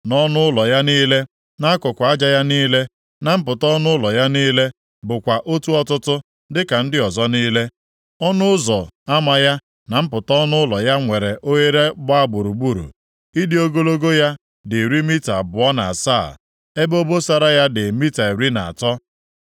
Nʼọnụ ụlọ ya niile, nʼakụkụ aja ya niile, na mpụta ọnụ ụlọ ya niile bụkwa otu ọtụtụ dịka ndị ọzọ niile. Ọnụ ụzọ ama ya na mpụta ọnụ ụlọ ya nwere oghere gbaa gburugburu. Ịdị ogologo ya dị iri mita abụọ na asaa, ebe obosara ya dị mita iri na atọ.